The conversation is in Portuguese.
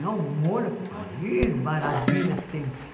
Não, Mônaco, Paris, maravilha sempre.